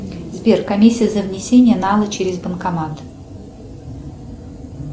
сбер комиссия за внесение нала через банкомат